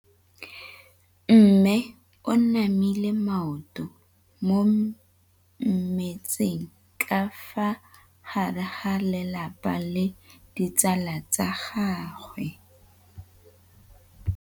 Mme o namile maoto mo mmetseng ka fa gare ga lelapa le ditsala tsa gagwe.